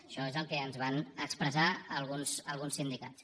això és el que ens van expressar alguns sindicats